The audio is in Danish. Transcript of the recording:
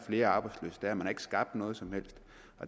flere arbejdsløse man har ikke skabt noget som helst